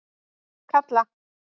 Kalla